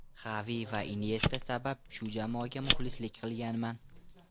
Xavi va Inyesta sabab shu jamoaga muxlislik qilganman.